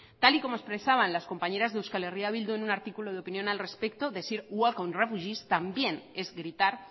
tal y como expresaban las compañeras de eh bildu en un artículo de opinión al respecto decir welcome refugees también es gritar